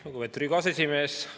Lugupeetud Riigikogu aseesimees!